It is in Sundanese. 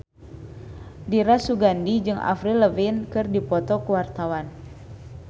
Dira Sugandi jeung Avril Lavigne keur dipoto ku wartawan